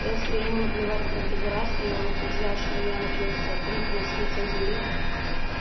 если ему наплевать на конфедерацию и он утверждает что янки сотрут нас с лица земли